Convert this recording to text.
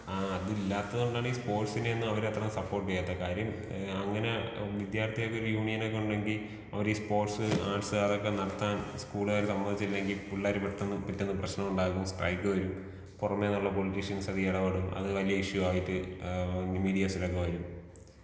ആ അതില്ലാത്തത് കൊണ്ടാണ് ഈ സ്പോർട്സിനെ ഒന്നും അവര് സപ്പോർട്ട് ചെയ്യാത്തെ കാര്യം അങ്ങനെ വിദ്യാർത്ഥികൾക്കൊരു യൂണിയനൊക്കെ ഉണ്ടെങ്കി അവരീ സ്പോർട്സ് ആർട്സ് അതൊക്കെ നടത്താൻ സ്കൂളാര് സമ്മയ്ച്ചില്ലെങ്കി പിള്ളാര് പെട്ടെന്ന് പിറ്റേന്ന് പ്രശ്നണ്ടാക്കും സ്ട്രൈക്ക് വരും പൊറമേന്ന്ള്ള പൊളിട്ടീഷ്യനൊക്കെ എടപെടും അത് വലീയ ഇഷു ആയിട്ട് ഈ മീഡ്യാസിലൊക്കെ വരും.